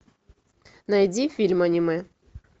найди фильм анимэ